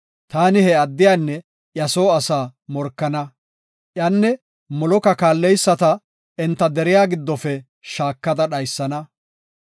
taani he addiyanne iya soo asaa morkana; iyanne Moloka kaallidaysata enta deriya giddofe shaakada dhaysana.